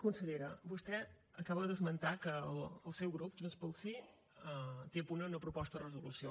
consellera vostè acaba d’esmentar que el seu grup junts pel sí té a punt una proposta de resolució